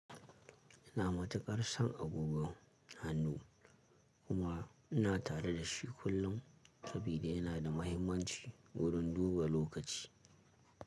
Ina matuƙar son agogon hannu kuma ina tare da shi kullum saboda yana da mahimmanci wurin duba lokaci.